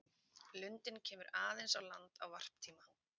Lundinn kemur aðeins á land á varptíma.